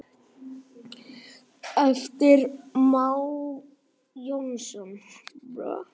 eftir Má Jónsson